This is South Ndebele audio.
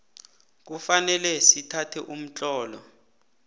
kufanele sithathe umtlolo